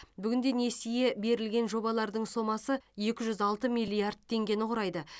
бүгін де несие берілген жобалардың сомасы екі жүз алты миллиард теңгені құрайды